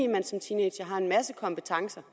man som teenager har en masse kompetencer